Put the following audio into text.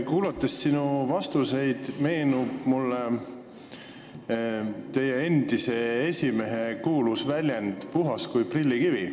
Kuulates sinu vastuseid, meenub mulle teie endise esimehe kuulus väljend "puhas kui prillikivi".